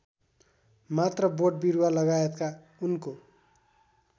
मात्र बोटबिरुवालगायतका उनको